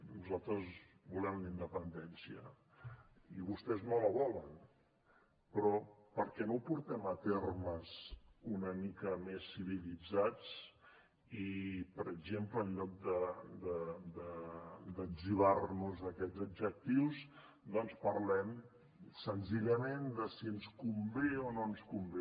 nosaltres volem la independència i vostès no la volen però perquè no ho portem a termes una mica més civilitzats i per exemple en lloc de etzibar nos aquests adjectius doncs parlem senzillament de si ens convé o no ens convé